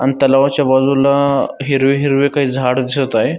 आणि तलावाच्या बाजूला हिरवी हिरवी काही झाड दिसत आहे.